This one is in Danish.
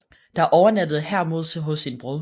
Dér overnattede Hermod hos sin bror